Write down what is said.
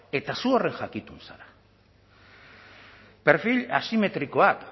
eta zu horren jakitun zara perfil asimetrikoak